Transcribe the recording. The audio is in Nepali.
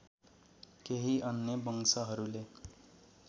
केही अन्य वंशहरूले